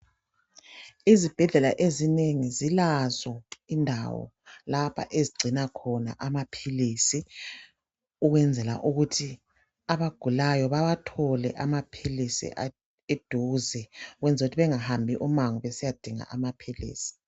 Izibhedlela ezinengi, zilazo indawo lapha ezigcina khona amaphilisi. Ukwenzela ukuthi abagulayo bawathole amaphilisi eduze , ukwenzela ukuthi bengabambi umango besiyadinga amaphilisi.